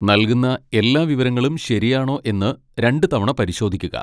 നൽകുന്ന എല്ലാ വിവരങ്ങളും ശരിയാണോ എന്ന് രണ്ടുതവണ പരിശോധിക്കുക.